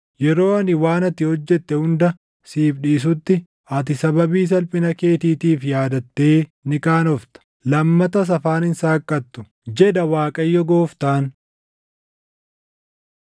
Yeroo ani waan ati hojjette hunda siif dhiisutti, ati sababii salphina keetiitiif yaadattee ni qaanofta; lammatas afaan hin saaqattu, jedha Waaqayyo Gooftaan.’ ”